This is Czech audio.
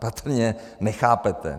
Patrně nechápete.